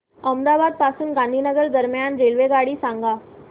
अहमदाबाद पासून गांधीनगर दरम्यान रेल्वेगाडी सांगा